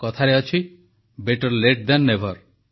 କଥାରେ ଅଛି better late than never